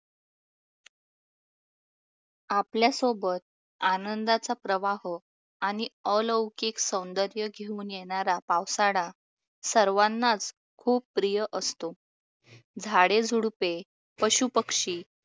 आपल्यासोबत आनंदाचा प्रवाह आणि अलौकिक सौंदर्य घेऊन येणारा पावसाळा सर्वांनाच खूप प्रिय असतो. झाडेझुडुपे, पशुपक्षी